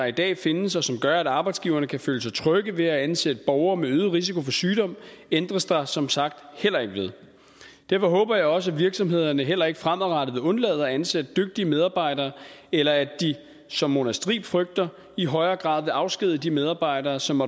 i dag findes og som gør at arbejdsgiverne kan føle sig trygge ved at ansætte borgere med øget risiko for sygdom ændres der som sagt heller ikke ved derfor håber jeg også at virksomhederne heller ikke fremadrettet vil undlade at ansætte dygtige medarbejdere eller at de som mona striib frygter i højere grad vil afskedige de medarbejdere som